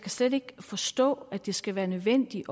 slet ikke forstå at det skal være nødvendigt